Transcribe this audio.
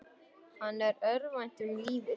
Hann örvænti um lífið.